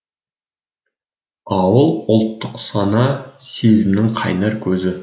ауыл ұлттық сана сезімнің қайнар көзі